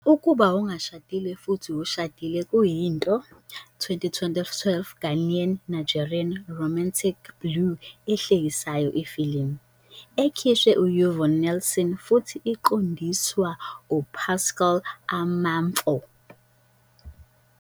Ukuba Ongashadile Futhi Ushadile kuyinto 2012 Ghanaian Nigerian romantic blue ahlekisayo ifilimu, ekhishwa Yvonne Nelson futhi iqondiswa Pascal Amanfo.